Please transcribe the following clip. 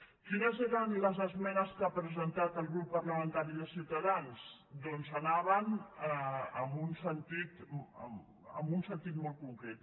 quines eren les esmenes que ha presentat el grup parlamentari de ciutadans doncs anaven en un sentit molt concret